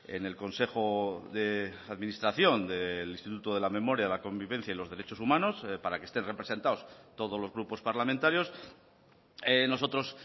en el consejo de administración del instituto de la memoria de la convivencia y los derechos humanos para que estén representados todos los grupos parlamentarios nosotros